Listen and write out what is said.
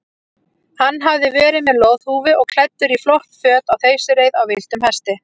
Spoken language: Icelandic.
Hann hafði verið með loðhúfu og klæddur í flott föt á þeysireið á villtum hesti.